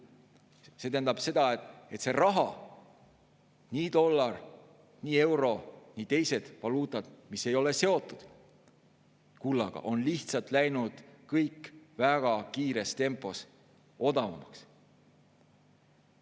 See tähendab seda, et raha, nii dollar, euro kui ka teised valuutad, mis ei ole seotud kullaga, on lihtsalt läinud kõik väga kiires tempos odavamaks.